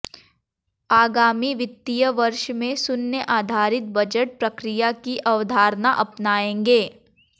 आगामी वित्तीय वर्ष में शून्य आधारित बजट प्रक्रिया की अवधारणा अपनाएंगे